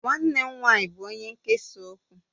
Nwannem nwanyi bu onye nkesa okwu.